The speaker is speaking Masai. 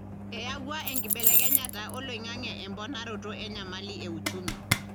eyawua enkibelekenyata oloingange emponaroto enyamali euchumi.